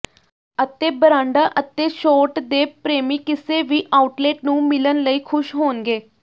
ਅਤੇ ਬਰਾਂਡਾਂ ਅਤੇ ਛੋਟ ਦੇ ਪ੍ਰੇਮੀ ਕਿਸੇ ਵੀ ਆਊਟਲੇਟ ਨੂੰ ਮਿਲਣ ਲਈ ਖੁਸ਼ ਹੋਣਗੇ